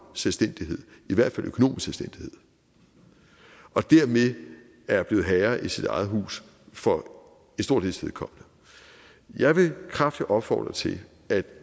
selvstændighed i hvert fald økonomisk selvstændighed og dermed er blevet herre i sit eget hus for stor dels vedkommende jeg vil kraftigt opfordre til at